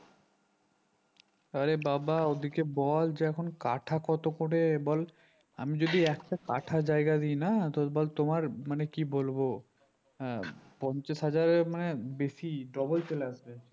আরে বাবা ওদেরকে বল যে এখন কাঠা কত করে বল আমি যদি একশো কাঠা জায়গা দিনা তো বল তোমার মানে কি বলবো হ্যাঁ পঞ্চাশ হাজারের মানে বেশি ডবল চলে আসবে